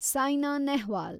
Saina Nehwal